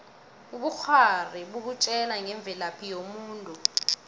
ubukghwari bukutjela ngemvelaphi yomuntu